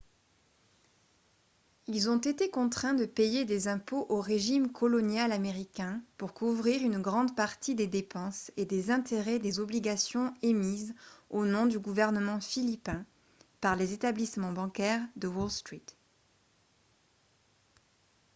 ils ont été contraints de payer des impôts au régime colonial américain pour couvrir une grande partie des dépenses et des intérêts des obligations émises au nom du gouvernement philippin par les établissements bancaires de wall street